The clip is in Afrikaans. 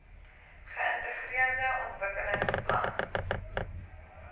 geintegreerde ontwikkelings plan